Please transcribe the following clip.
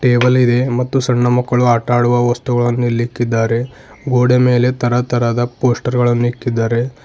Table ಇದೆ ಮತ್ತು ಸಣ್ಣ ಮಕ್ಕಳು ಆಟ ಆಡುವ ವಸ್ತುಗಳನ್ನು ಇಲ್ಲಿಕ್ಕಿದ್ದಾರೆ ಗೋಡೆ ಮೇಲೆ ತರ ತರದ ಪೋಸ್ಟರ್ ಗಳನ್ನು ಇಕ್ಕಿದ್ದಾರೆ.